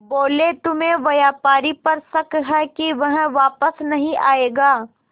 बोले तुम्हें व्यापारी पर शक है कि वह वापस नहीं आएगा